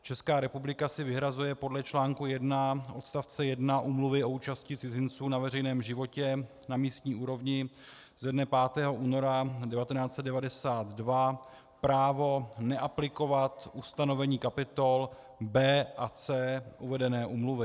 Česká republika si vyhrazuje podle článku 1 odstavce 1 Úmluvy o účasti cizinců na veřejném životě na místní úrovni ze dne 5. února 1992 právo neaplikovat ustanovení kapitol B a C uvedené úmluvy.